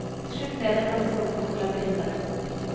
Til slutt ble det en ganske omfattende labyrint av rom.